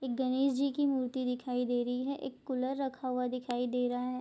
एक गणेश जी की मूर्ति दिखाई दे रही है एक कूलर रखा हुआ दिखाई दे रहा है।